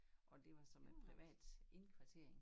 Og det var sådan noget privat indkvartering